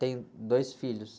Tenho dois filhos.